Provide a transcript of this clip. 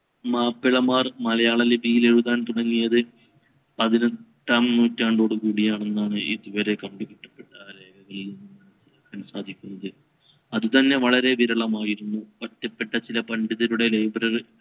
മാപ്പിളമാർ മലയാള ലിപിയിൽ എഴുതാൻ തുടങ്ങിയത് പതിനെട്ടാം നൂറ്റാണ്ടോട് കൂടിയാണെന്നാണ് ഇതുവരെ കണ്ടുപിടിക്കപ്പെട്ട രേഖകളിൽ നിന്ന് കാണാൻ സാധിക്കുന്നത്. അത് തന്നെ വളരെ വിരളമായിരുന്നു ഒറ്റപ്പെട്ട ചില പണ്ഡിതരുടെ library